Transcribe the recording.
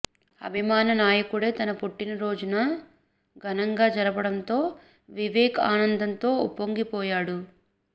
అభిమాన నాయకుడే తన పుట్టినరోజును ఘనంగా జరపడంతో వివేక్ ఆనందంతో ఉప్పొంగిపోయాడు